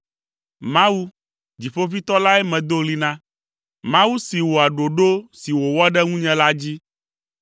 Mawu, Dziƒoʋĩtɔ lae medo ɣli na, Mawu si wɔa ɖoɖo si wòwɔ ɖe ŋunye la dzi.